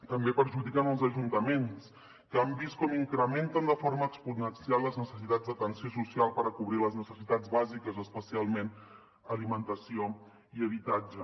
també perjudiquen els ajuntaments que han vist com incrementen de forma exponencial les necessitats d’atenció social per cobrir les necessitats bàsiques especialment alimentació i habitatge